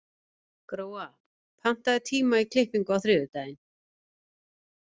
Gróa, pantaðu tíma í klippingu á þriðjudaginn.